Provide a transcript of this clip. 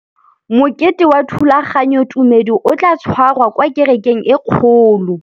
Mokete wa thulaganyôtumêdi o tla tshwarelwa kwa kerekeng e kgolo.